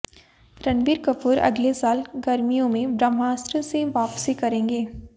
रणबीर कपूर अगले साल गर्मियों में ब्रह्मास्त्र से वापसी करेंगे